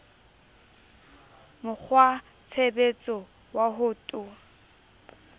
mo kgwatshebetso wa ho to